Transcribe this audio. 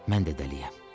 Mən də dəliyəm.